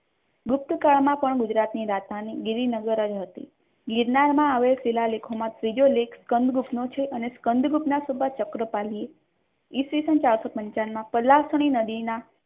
ગુપ્તકાળમાં પણ ગુજરાતની રાજધાની ગીરી નગર જ હતી ગિરનારમાં આવેલા શિલાલેખોમાં બીજો લેખ કંદરૂપનો છે અને કંદરૂપના સબા ચક્રપાલીએ ઇસવીસન ચારસો પંચાવન માં કલાસણી નદીના